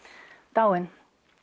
dáinn